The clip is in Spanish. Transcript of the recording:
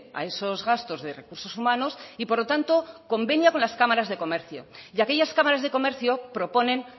a esos gastos de recursos humanos y por lo tanto convenía con las cámaras de comercio y aquellas cámaras de comercio proponen